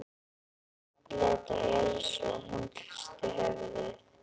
Örn leit á Elísu og hún hristi höfuðið.